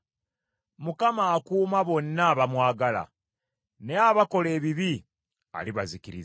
Mukama akuuma bonna abamwagala, naye abakola ebibi alibazikiriza.